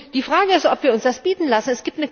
Die Frage ist, ob wir uns das bieten lassen.